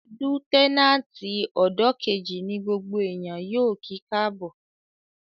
Lútẹ́nàtì ọ́dọ̀ kejì ní gbogbo èèyàn yóò kí káàbọ̀